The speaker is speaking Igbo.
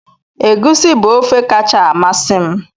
Egusi bu ofe kacha amasị m